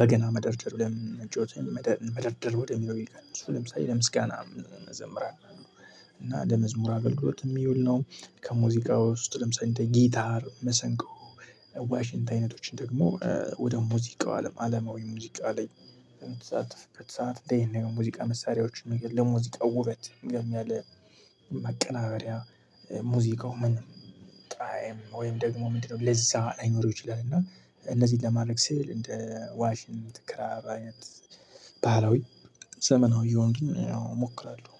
በገና መደርደር ብለን ጮኸን መደርደር ወደሚለው ይቀንሱ ለምሳሌ ለምስጋና መዘምር። እና ለመዝሙር አገልግሎት የሚውል ነው። ከሙዚቃው ውስጥ ለምሳሌ እንደ ጊታር መሰንቆ ዋሽንት አይነቶችን ደግሞ ወደ ሙዚቃው አለም አለማዊ ሙዚቃ ላይ በተሳተፍነው ይሄን የሆኑ ሙዚቃ መሳሪያዎችን ለሙዚቃው ውበት ያለ ማቀናበሪያ። ሙዝቃው ምን ጣዕም ወይም ደግሞ ምንድነው ለዛ ላይኖር ይችላል። እና እነዚህ ለማረግ ስል እንደ ዋሽንት ክራር አይነት ባህላዊ። ዘመናዊ የሆኑትን አዎ እሞክራለሁ።